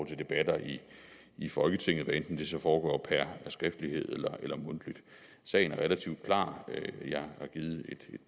til debatter i folketinget hvad enten det så foregår per skriftlighed hellere mundtligt sagen er relativt klar jeg har givet et